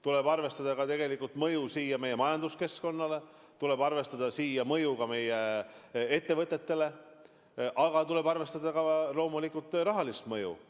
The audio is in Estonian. Tuleb arvestada mõju meie majanduskeskkonnale, tuleb arvestada mõju meie ettevõtetele, tuleb loomulikult arvestada ka rahalist mõju.